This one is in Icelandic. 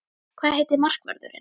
Hvað heitir markvörðurinn?